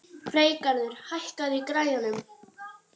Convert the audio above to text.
Freygarður, hækkaðu í græjunum.